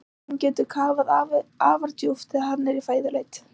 Léttirinn getur kafað afar djúpt þegar hann er í fæðuleit.